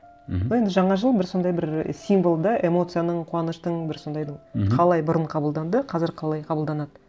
мхм бұл енді жаңа жыл бір сондай бір символ да эмоцияның қуаныштың бір сондайдың мхм қалай бұрын қабылданды қазір қалай қабылданады